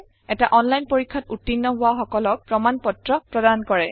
এটা অনলাইন পৰীক্ষাত উত্তীৰ্ণ হোৱা সকলক প্ৰমাণ পত্ৰ প্ৰদান কৰে